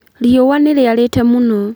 Riũa nĩ rĩarĩte mũno